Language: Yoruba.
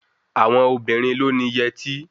Àwọn obìnrin ló ni yẹtí